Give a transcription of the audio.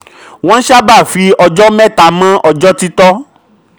28. wọ́n sábà fi ọjọ́ mẹ́ta mọ ọjọ́ títọ́.